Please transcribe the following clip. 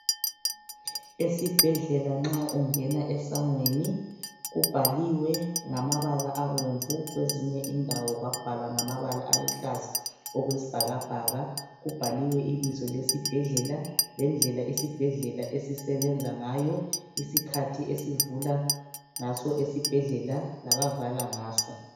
Esibhedlela nxa ungena esangweni kubhaliwe ngamabala abomvu kwezinye indawo kwabhalwa ngamabala aluhlaza okwesibhakabhaka, kubhaliwe ibizo lesibhedlela lendlela isibhedlela esisebenza ngayo isikhathi abavula ngaso esibhedlela labavala ngaso.